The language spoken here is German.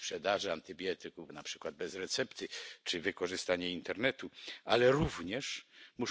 und weil die Tierhaltung nicht entsprechend ausgestaltet ist. Das können wir uns nicht leisten.